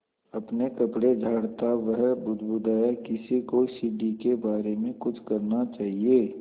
अपने कपड़े झाड़ता वह बुदबुदाया किसी को सीढ़ी के बारे में कुछ करना चाहिए